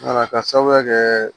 Wala ka sababuya kɛ